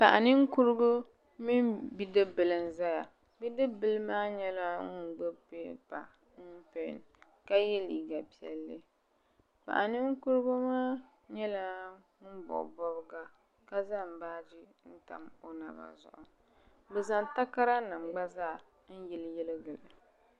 Paɣa ninkurigu mini bidibila n zaya bidibila maa nyɛla ŋun gbibi pipa mini pen ka ye liiga piɛlli paɣa ninkurigu maa nyɛla ŋun bobi bobga ka zaŋ baaji n tam o naba zuɣu bɛ zaŋ takara nima gba n yili yili gili.